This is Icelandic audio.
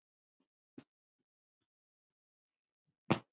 Allt Katrínu að kenna?